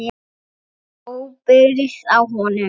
Enginn tók ábyrgð á honum.